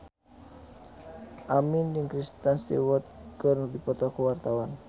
Aming jeung Kristen Stewart keur dipoto ku wartawan